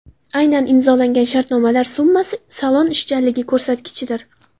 Aynan imzolangan shartnomalar summasi salon ishchanligi ko‘rsatkichidir.